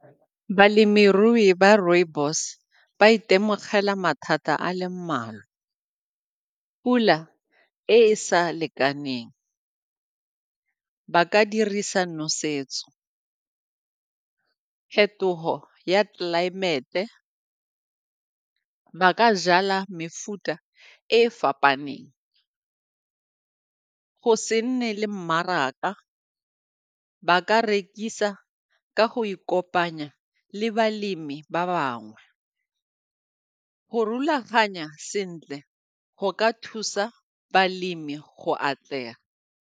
Balemirui ba rooibos ba itemogela mathata a le mmalwa, pula e e sa lekaneng, ba ka dirisa nosetso, phetogo ya tlelaemete ba ka jala mefuta e e fapaneng. Go se nne le mmaraka ba ka rekisa ka go ikopanya le balemi ba bangwe, go rulaganya sentle go ka thusa balemi go atlega.